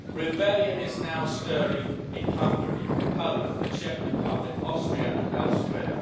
Rebellion is now stirring in Hungary, Poland, the Czech Republic, Austria and elsewhere.